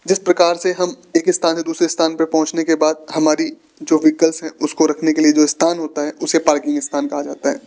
जिस प्रकार से हम एक स्थान में दूसरे स्थान पर पहुंचने के बाद हमारी जो व्हीकल है उसको रखने के लिए जो स्थान होता है उसे पार्किंग स्थान कहा जाता है।